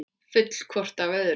Full hvort af öðru.